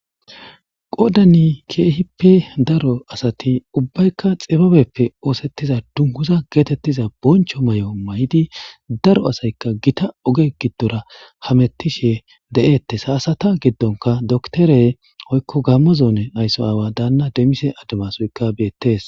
qodani keehippe daro asati ubbaykka xibabeppe oosettiza dunguza geetettiza boncho may7o may7di daro asaykka gita oge giddora hametishe de7eettes hasata giddonka doktorey oykko gammazoone aysso aawa daanna demmise ademasoykka beettees